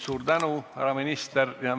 Suur tänu, härra minister!